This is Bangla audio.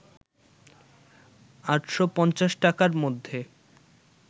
৮৫০ টাকার মধ্যে